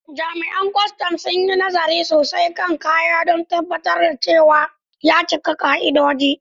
Jami’an kwastam sun yi nazari sosai kan kayan don tabbatar da cewa ya cika ka’idoji.